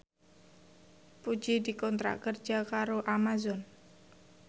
Puji dikontrak kerja karo Amazon